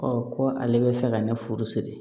ko ale bɛ fɛ ka ne furu siri